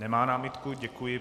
Nemá námitku, děkuji.